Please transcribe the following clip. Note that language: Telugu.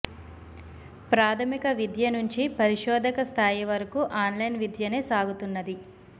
ప్రాథమిక విద్య నుంచి పరిశోధక స్థాయి వరకు ఆన్లైన్ విద్యనే సాగుతున్నది